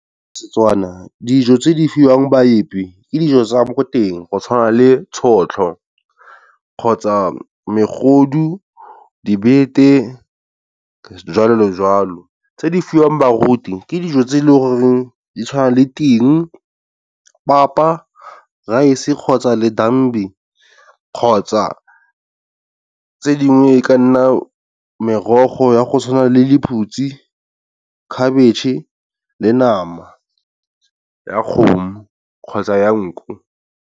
Setswana dijo tse di fiwang baepi ke dijo tsa mo teng go tshwana le tšhotlho kgotsa megodu, dibete jwalo le jwalo. Tse di fiwang baruti ke dijo tse e le goreng di tshwana le ting, papa, rice kgotsa ledambi, kgotsa tse dingwe e ka nna merogo ya go tshwana le lephutsi, khabitšhe le nama ya kgomo kgotsa ya nku.